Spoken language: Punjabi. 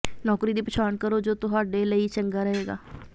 ਨੌਕਰੀ ਦੀ ਪਛਾਣ ਕਰੋ ਜੋ ਤੁਹਾਡੇ ਲਈ ਚੰਗਾ ਰਹੇਗਾ